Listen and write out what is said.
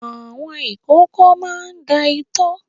Àwọn ìkókó máa ń da itọ́.